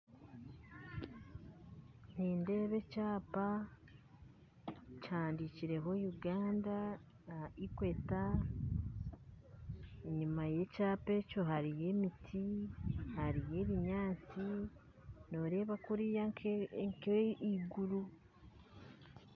Nindeeba ekyapa kihandiikirweho Uganda equator enyuma y'ekyapa ekyo hariyo emiti hariyo ebinyaatsi noreeba kuriya nk'eiguru